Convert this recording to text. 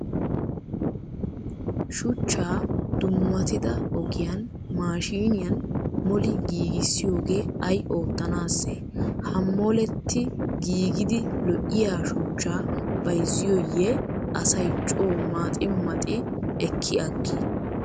Shuchchaa dummatida ogiyaan maashiiniyan moli giigissiyogee ayi oottanaasse? Ha moetti giigidi lo'iyaa shuchchaa bayizziyooyye asayi coo maxi maxi ekki aggii?